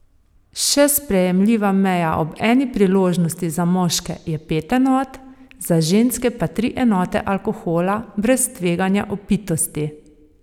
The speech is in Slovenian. Še sprejemljiva meja ob eni priložnosti za moške je pet enot, za ženske pa tri enote alkohola, brez tveganja opitosti.